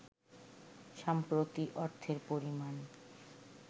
সম্প্রতি অর্থের পরিমাণ